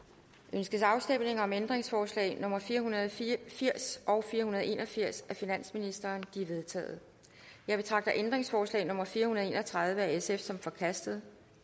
ønskes afstemning om ændringsforslag nummer fire hundrede og firs og fire hundrede og en og firs af finansministeren de er vedtaget jeg betragter ændringsforslag nummer fire hundrede og en og tredive af sf som forkastet